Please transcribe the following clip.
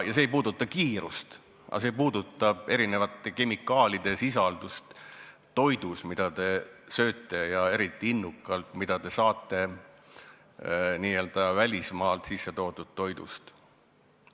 See ei puuduta küll kiirust, aga see puudutab erinevate kemikaalide sisaldust toidus, mida te sööte, ja eriti innukalt, mida te saate välismaalt sisse toodud toidust.